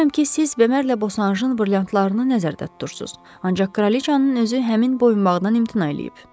Bilirəm ki, siz Bemerlə Bosaşın brilyantlarını nəzərdə tutursunuz, ancaq kraliçanın özü həmin boyunbağdan imtina eləyib.